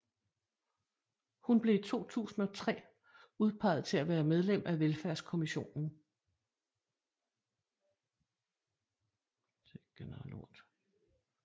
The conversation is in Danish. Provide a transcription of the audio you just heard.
Hun blev i 2003 udpeget til at være medlem af Velfærdskommissionen